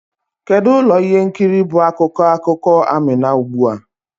Kedu ụlọ ihe nkiri bụ akụkọ akụkọ Amina ugbu a?